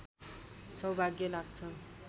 सौभाग्य लाग्छ